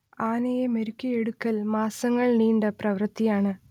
ആനയെ മെരുക്കിയെടുക്കൽ മാസങ്ങൾ നീണ്ട പ്രവൃത്തിയാണ്